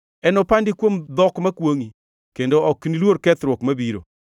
Enopandi kuom dhok makwongʼi, kendo ok niluor kethruok mabiro.